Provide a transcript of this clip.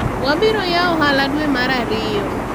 wabiro yawo ohala dwe mar ariyo